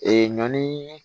Ee ɲɔn